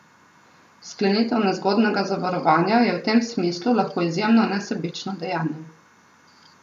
Sklenitev nezgodnega zavarovanja je v tem smislu lahko izjemno nesebično dejanje.